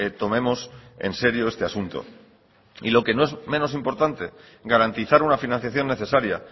tomemos en serio este asunto y lo que no es menos importante garantizar una financiación necesaria